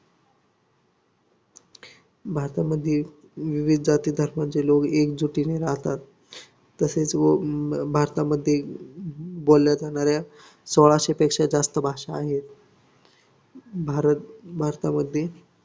भारतामध्ये विविध जाती धर्माचे लोक एकजुटीने राहतात तसेच व भारतामध्ये बोलल्या जाणाऱ्या सोळाशे पेक्षा जास्त भाषा आहे भारत भारतामध्ये